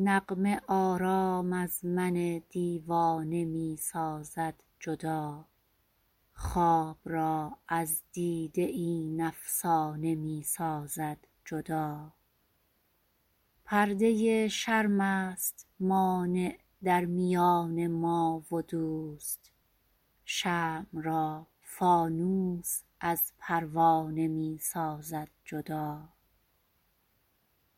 نغمه آرام از من دیوانه می سازد جدا خواب را از دیده این افسانه می سازد جدا پرده شرم است مانع در میان ما و دوست شمع را فانوس از پروانه می سازد جدا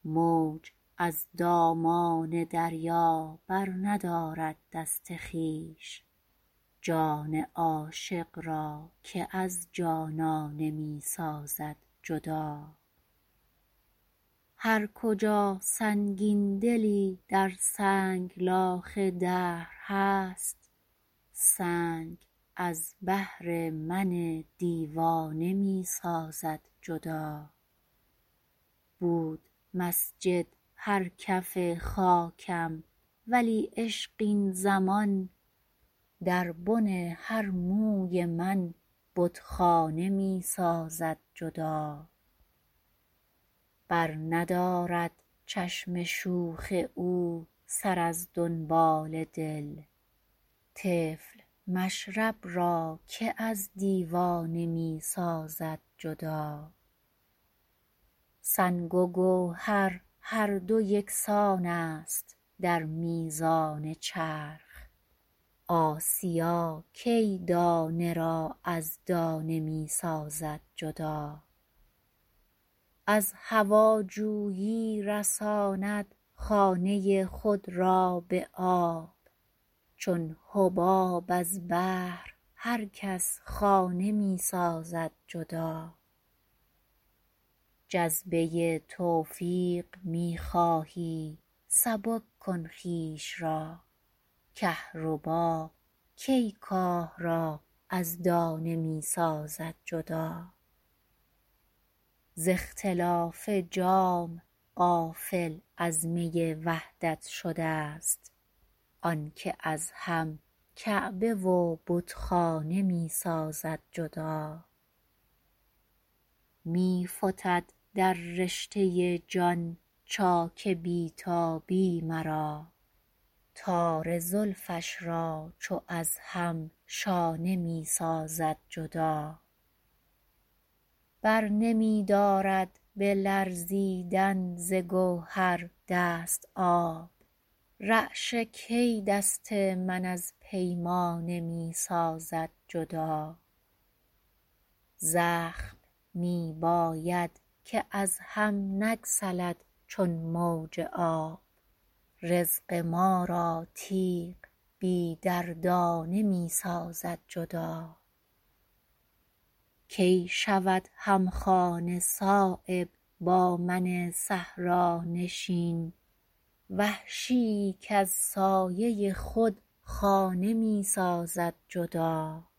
موج از دامان دریا برندارد دست خویش جان عاشق را که از جانانه می سازد جدا هرکجا سنگین دلی در سنگلاخ دهر هست سنگ از بهر من دیوانه می سازد جدا بود مسجد هر کف خاکم ولی عشق این زمان در بن هر موی من بتخانه می سازد جدا برندارد چشم شوخ او سر از دنبال دل طفل مشرب را که از دیوانه می سازد جدا سنگ و گوهر هر دو یکسان است در میزان چرخ آسیا کی دانه را از دانه می سازد جدا از هواجویی رساند خانه خود را به آب چون حباب از بحر هر کس خانه می سازد جدا جذبه توفیق می خواهی سبک کن خویش را کهربا کی کاه را از دانه می سازد جدا ز اختلاف جام غافل از می وحدت شده ست آن که از هم کعبه و بتخانه می سازد جدا می فتد در رشته جان چاک بی تابی مرا تار زلفش را چو از هم شانه می سازد جدا برنمی دارد به لرزیدن ز گوهر دست آب رعشه کی دست من از پیمانه می سازد جدا زخم می باید که از هم نگسلد چون موج آب رزق ما را تیغ بی دندانه می سازد جدا کی شود همخانه صایب با من صحرانشین وحشی ای کز سایه خود خانه می سازد جدا